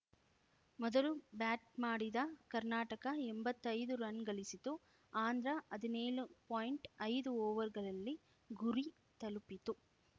ಮೊದಲು ಬ್ಯಾಟ್‌ ಮಾಡಿದ ಕರ್ನಾಟಕ ಎಂಬತ್ತೈದು ರನ್‌ಗಳಿಸಿತು ಆಂಧ್ರ ಹದ್ನೇಳು ಪಾಯಿಂಟ್ಐದು ಓವರ್‌ಗಳಲ್ಲಿ ಗುರಿ ತಲುಪಿತು